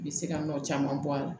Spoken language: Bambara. U bɛ se ka nɔ caman bɔ a la